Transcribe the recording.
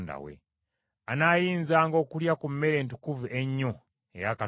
Anaayinzanga okulya ku mmere entukuvu ennyo eya Katonda we;